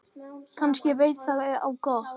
Kannski veit það á gott.